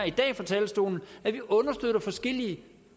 i dag på talerstolen at vi understøtter forskellige